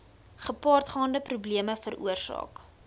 gepaardgaande probleme veroorsaak